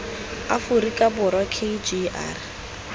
aforika borwa k g r